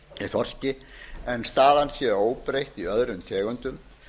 þorski en staðan sé óbreytt í öðrum tegundum